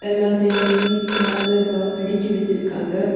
எல்லாத்தையும் நீட்டா அழகா அடுக்கி வச்சிருக்காங்க.